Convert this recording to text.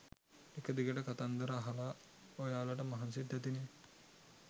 එක දිගට කතන්දර අහලා ඔයාලට මහන්සිත් ඇතිනෙ